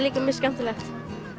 líka mjög skemmtilegt